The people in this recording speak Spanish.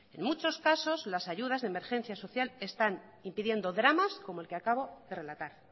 en muchos casos las ayudas de emergencia social están impidiendo dramas como el que acabo de relatar